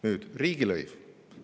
Nüüd, riigilõiv.